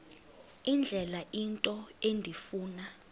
indlela into endifuna